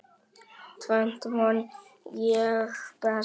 Tvennt man ég best.